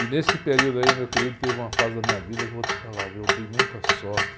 E nesse período aí, meu querido, teve uma fase da minha vida que eu vou te falar, viu? Eu dei muita sorte.